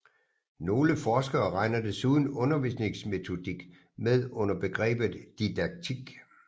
Nogle forskere regner desuden undervisningsmetodik med under begrebet didaktik